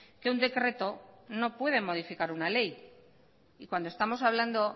que un decreto no puede modificar una ley y cuando estamos hablando